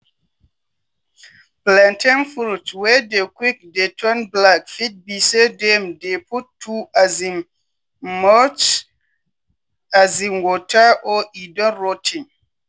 plantain fruit wey dey quick dey turn black fit be say dem dey put too um much um water or e don rot ten.